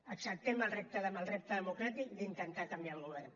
acceptem el repte democràtic d’intentar canviar el govern